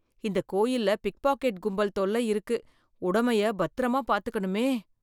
இந்த கோயில்ல பிக்பாக்கெட் கும்பல் தொல்ல இருக்கு, உடமைய பத்திரமா பாத்துக்கணுமே.